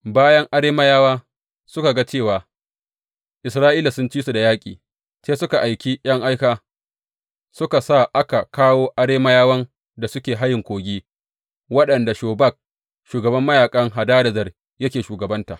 Bayan Arameyawa suka ga cewa Isra’ila sun ci su da yaƙi, sai suka aiki ’yan aika suka sa aka kawo Arameyawan da suke hayen Kogi waɗanda Shobak shugaban mayaƙan Hadadezer yake shugabanta.